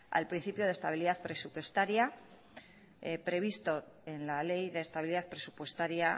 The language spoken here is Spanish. al principio de estabilidad presupuestaria previsto en la ley de estabilidad presupuestaria